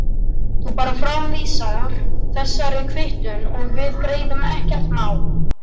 Þú bara framvísar þessari kvittun og við greiðum, ekkert mál.